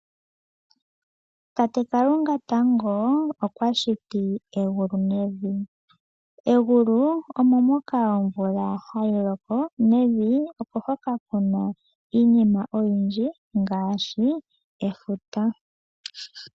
Tate Kalunga tango okwa shiti egulu nevi. Egulu omo moka omvula hayi zi tayi loko nokevi okuna iinima oyindji ngaashi efuta.